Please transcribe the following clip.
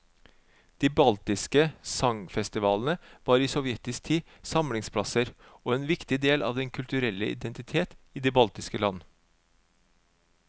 De baltiske sangfestivalene var i sovjetisk tid samlingsplasser og en viktig del av den kulturelle identitet i de baltiske land.